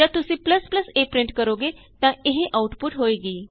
ਜਦ ਤੁਸੀਂ a print ਕਰੋਗੇ ਤਾਂ ਇਹ ਆਉਟਪੁਟ ਹੋਏਗੀ